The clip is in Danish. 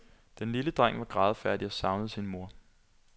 Den lille dreng var grædefærdig og savnede sin mor.